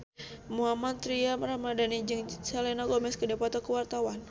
Mohammad Tria Ramadhani jeung Selena Gomez keur dipoto ku wartawan